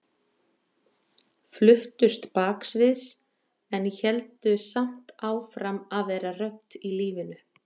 Fluttust baksviðs en héldu samt áfram að vera rödd í lífinu.